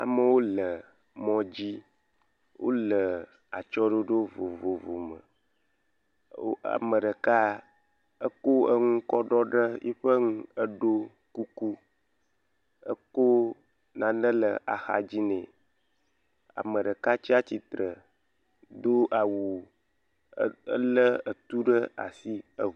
Amewo le mɔ dzi. Wole atsyɔ̃ɖoɖo vovovo me. Ame ɖeka eko enu kɔ ɖɔ ɖe yiƒe nu eɖo kuku eko nane le axadzi nɛ. Ame ɖeka tsia tsitre do awu elé etu ɖe ashi.